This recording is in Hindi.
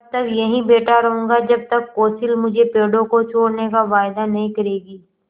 तब तक यहीं बैठा रहूँगा जब तक कौंसिल मुझे पेड़ों को छोड़ने का वायदा नहीं करेगी